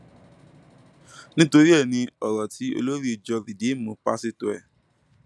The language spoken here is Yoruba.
nítorí ẹ ní ọrọ tí olórí ìjọ rìdììmù páṣítọ ẹ